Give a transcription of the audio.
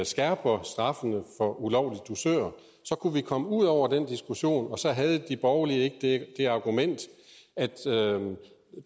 skærper straffene for ulovlige dusører så kunne vi komme ud over den diskussion og så havde de borgerlige ikke det argument at